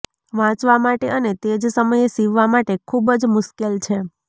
વાંચવા માટે અને તે જ સમયે સીવવા માટે ખૂબ જ મુશ્કેલ છે